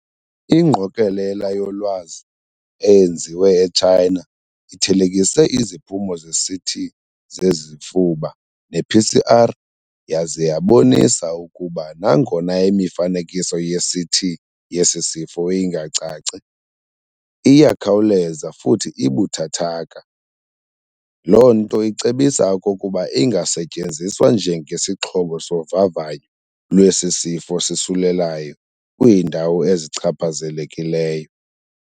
Ingqokelela yolwazi eyenziwe eChina ithelekise iziphumo zeCT zezifuba ne PCR yaze yabonisa ukuba nangona imifanekiso yeCT yesisifo ingacaci, iyakhawuleza futhi ibuthathaka, lonto icebisa okokuba ingasetyenziswa njenge sixhobo sovavanyo lwesisifo sisulelayo kwiindawo ezichaphazelekileyo.